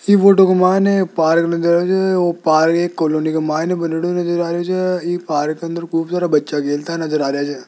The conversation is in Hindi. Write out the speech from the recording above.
इस फोटो एक पार्क नज़र आ रही है वो पार्क एक कॉलोनी नज़र आ रही जो है ये पार्क के अंदर खूब सारा बच्चा खेलता नजर आ रहे है।